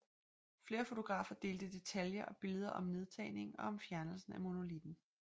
Flere fotografer delte detaljer og billeder om nedtagningen og fjernelsen af monolitten